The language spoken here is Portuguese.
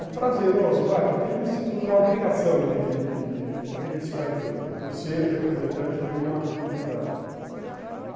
É prazeroso, vai, porque eu me sinto na obrigação de de de disso daí todo, por ser representante de uma entidade.